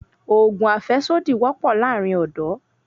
Òògùn àfẹ́sódì wọ́pọ̀ láàrin ọ́dọ̀